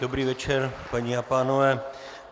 Dobrý večer, paní a pánové.